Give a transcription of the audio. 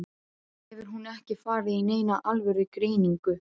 Hefur hún ekki farið í neina alvöru greiningu?